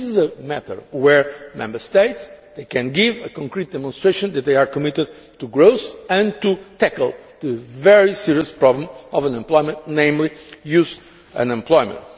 This is a matter where Member States can give a concrete demonstration that they are committed to growth and to tackling the very serious problem of unemployment, namely youth unemployment.